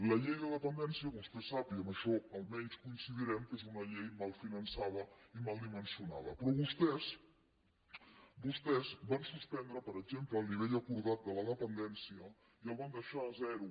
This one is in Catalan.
la llei de dependència vostè sap i amb això almenys coincidirem que és una llei mal finançada i mal dimensionada però vostès van suspendre per exemple el nivell acordat de la dependència i el van deixar a zero